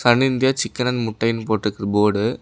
Sun India chicken and முட்டனு போட்டுருக்கு board .